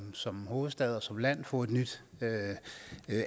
som hovedstad og som land at få et nyt